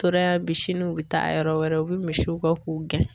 Tora yan bi sini u bɛ taa yɔrɔ wɛrɛ, u bɛ misiw kɔ k'u gɛn.